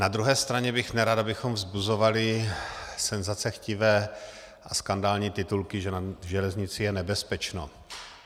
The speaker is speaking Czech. Na druhé straně bych nerad, abychom vzbuzovali senzacechtivé a skandální titulky, že na železnici je nebezpečno.